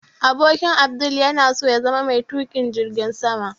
Abokin Abdul yana so ya zama mai tukin jirgin sama